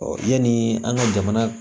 yani an ka jamana